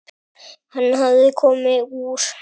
Hann hafði komið úr